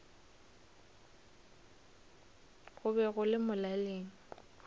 go be go le molaleng